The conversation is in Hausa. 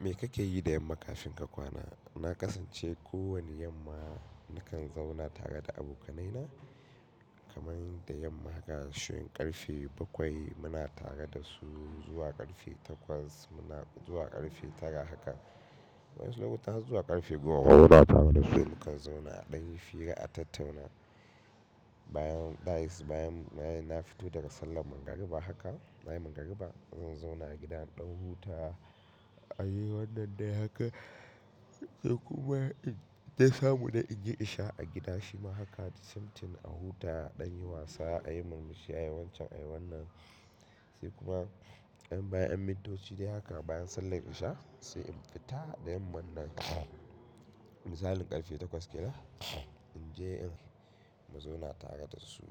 Me kake yi da yamma kafin ka kwana? Na kasance kowane yamma nakan zauna tare da abokanai na kaman da yamma haka, shin ƙarfe bakwai muna tare da su zuwa ƙarfe takwas, muna zuwa ƙarfe tara haka. Wayansu lokutan har zuwa ƙarfe goma, ma muna tare da su mukan zauna a ɗan fira a tattauna. Bayan, bayan, bayan na fito daga sallar magriba haka, bayan magriba zan zauna a gida in ɗan huta a yi wannan da haka. Sai kuma in ta samu na in yi isha a gida shima haka, the same thing a huta ɗan yi wasa a yi murmushi, a yi wancan, a yi wannan. Sai kuma yan bayan yannn mintoci dai haka bayan sallar isha sai in fita da yamma nan misalin ƙarfe takwas ke nan in je in mu zauna tare da su